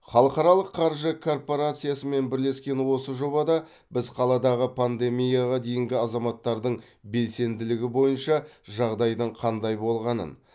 халықаралық қаржы корпорациясымен бірлескен осы жобада біз қаладағы пандемияға дейінгі азаматтардың белсенділігі бойынша жағдайдың қандай болғанын